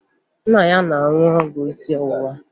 Nna ya na-aṅụ ọgwụ isi ọwụwa